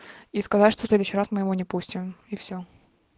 и сказать что в следующий раз мы его не пустим и всё